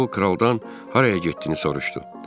Sonra o kraldan haraya getdiyini soruşdu.